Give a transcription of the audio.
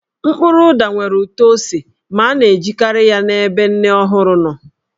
Mkpụrụ ụda nwere ụtọ ose ma a na-ejikarị ya n'ebe nne ọhụrụ nọ.